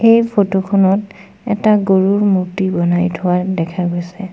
এই ফটো খনত এটা গৰুৰ মূৰ্তি বনাই থোৱা দেখা গৈছে।